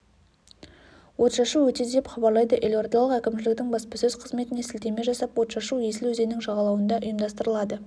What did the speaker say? отшашу өтеді деп хабарлайды елордалық әкімшіліктің баспасөз қызметіне сілтеме жасап отшашу есіл өзенінің жағалауында ұйымдастырылады